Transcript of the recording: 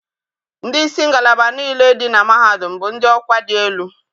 Ndị isi ngalaba niile dị na mahadum bụ ndị ọkwa dị elu.